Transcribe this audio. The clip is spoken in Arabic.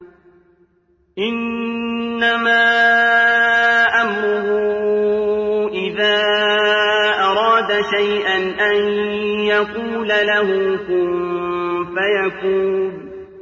إِنَّمَا أَمْرُهُ إِذَا أَرَادَ شَيْئًا أَن يَقُولَ لَهُ كُن فَيَكُونُ